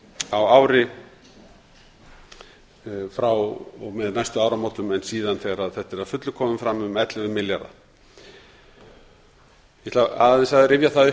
á ári frá og með næstu áramótum en síðan þegar þetta er að fullu komið fram um ellefu milljarðar ég ætla aðeins að rifja það upp